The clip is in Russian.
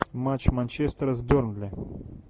матч манчестера с бернли